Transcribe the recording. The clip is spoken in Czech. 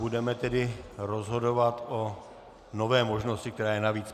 Budeme tedy rozhodovat o nové možnosti, která je navíc.